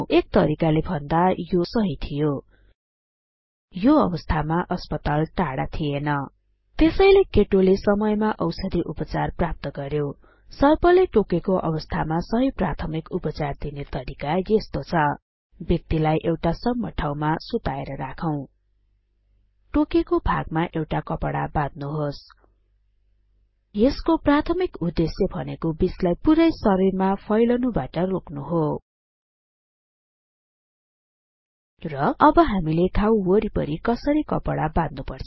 एक तरिकाले भन्दा यो सहि थियो यो अवस्थामा अस्पताल टाढा थिएन त्यसैले केटोले समयमा औषधि उपचार प्राप्त गर्यो सर्पले टोकेको अवस्थामा सहि प्राथमिक उपचार दिने तरिका यस्तो छ व्यक्तिलाई एउटा सम्म ठाउँमा सुताएर राखौं टोकेको भागमा एउटा कपडा बाध्नुहोस यसको प्राथमिक उद्देश्य भनेको बिषलाई पुरै शरीरमा फैलनुबाट रोक्नु हो र अब हामीले घाउ वरिपरी कसरी कपडा बाध्नुपर्छ